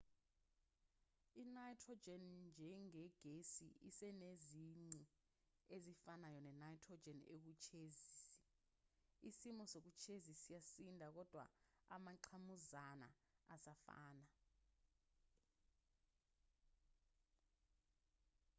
i-nitrogen njengegesi isenezici ezifanayo ne-nitrogen ewuketshezi isimo soketshezi siyasinda kodwa amangqamuzana asafana